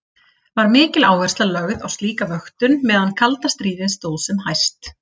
Var mikil áhersla lögð á slíka vöktun meðan kalda stríði stóð sem hæst.